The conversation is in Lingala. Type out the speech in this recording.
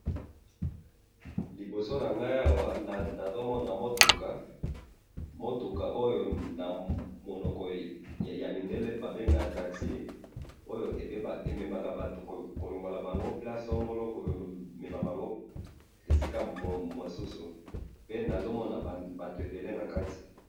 liboso nangai awa nazomona mutuka, mutuka oyo na monoko ya mindele babengaka taxi oyo ememaka batu kolongola bango place songolo komemala bango esika mosusu pe nazomona batu ebele nakati